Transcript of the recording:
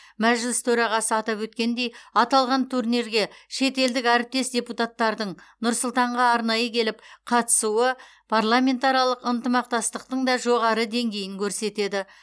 мәжіліс төрағасы атап өткендей аталған турнирге шетелдік әріптес депутаттардың нұр сұлтанға арнайы келіп қатысуы парламент аралық ынтымақтастықтың да жоғары деңгейін көрсетеді